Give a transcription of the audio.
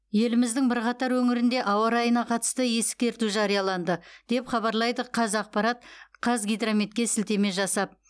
еліміздің бірқатар өңірінде ауа райына қатысты ескерту жарияланды деп хабарлайды қазақпарат қазгидрометке сілтеме жасап